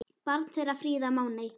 Barn þeirra Fríða Máney.